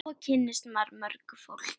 Svo kynnist maður mörgu fólki.